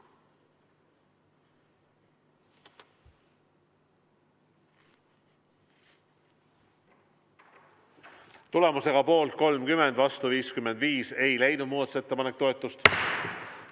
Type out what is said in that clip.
Tulemusega poolt 30, vastu 55 ei leidnud muudatusettepanek toetust.